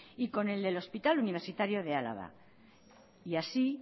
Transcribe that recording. y con elde el hospital universitario de álava y así